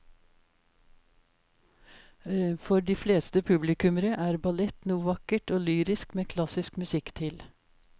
For de fleste publikummere er ballett noe vakkert og lyrisk med klassisk musikk til.